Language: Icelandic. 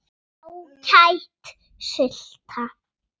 Ágæt sulta.